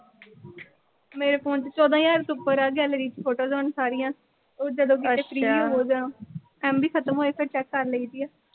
ਮੇਰੇ phone ਚ ਚੌਦਾਂ ਹਜ਼ਾਰ ਤੋਂ ਉੱਪਰ ਆ gallery photos ਹੁਣ ਸਾਰੀਆਂ। ਉਹ ਜਦੋਂ ਕਿਤੇ free ਹੋਜਾਂ, MB ਖਤਮ ਹੋਜੇ ਫਿਰ ਚੈਕ ਕਰ ਲਈ ਦੀ ਆ।